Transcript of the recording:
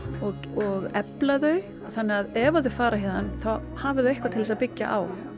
og efla þau þannig að ef þau fara héðan þá hafa þau eitthvað til þess að byggja á